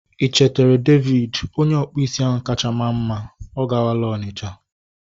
I chetere David? Onye ọkpụ isi ahụ kacha maa mma. Ọ kwagala Onitcha